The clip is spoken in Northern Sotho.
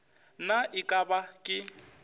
na e ka ba ke